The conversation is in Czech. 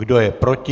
Kdo je proti?